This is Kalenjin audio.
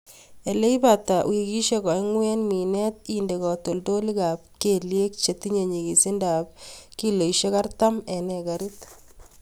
Ileibata wikisiek oeng'u en minet, inde katoltolikab keliek chetine nyikisindap kiloisiek artam en ekarit.